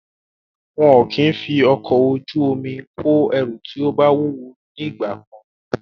Wọn kò kí ń fi ọkọ̀ ojú omi kó àwọn ẹrù tí ó wúwo ní ìgbà kan.